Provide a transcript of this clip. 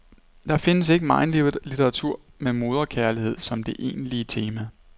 Der findes ikke megen litteratur med moderkærlighed som det egentlige tema.